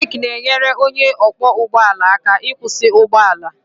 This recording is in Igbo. Brek na-enyere onye ọkwọ ụgbọ ala aka ịkwụsị ụgbọ ala